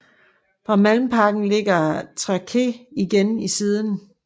Fra Malmparken ligger tracéet igen i siden